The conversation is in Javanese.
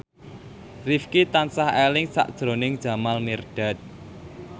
Rifqi tansah eling sakjroning Jamal Mirdad